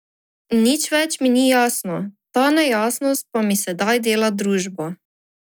Nič več mi ni jasno, ta nejasnost pa mi sedaj dela družbo.